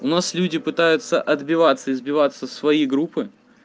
у нас люди пытаются отбиваться и сбиваться в свои группы